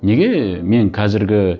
неге мен қазіргі